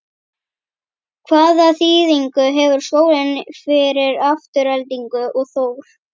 Hvaða þýðingu hefur skólinn fyrir Aftureldingu og Þór?